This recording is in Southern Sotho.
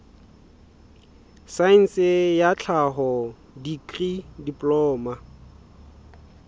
saense ya tlhaho dikri diploma